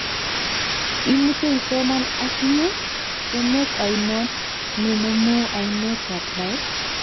Imuche isoman akinye; emet ainon ne nomu ainet ab Nile?